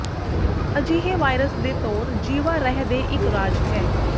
ਅਜਿਹੇ ਵਾਇਰਸ ਦੇ ਤੌਰ ਜੀਵਾ ਰਹਿ ਦੇ ਇੱਕ ਰਾਜ ਹੈ